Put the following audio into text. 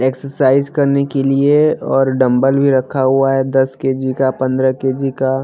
Exercise करने के लिए और डम्बल भी रखा हुआ है दस के_जी का पंद्रह के_जी का।